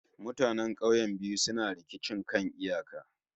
Mutanen kauyukan biyu suna rikicin kan iyaka